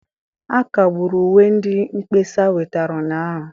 A kagburu uwe ndị mkpesa wetara ụnyahụ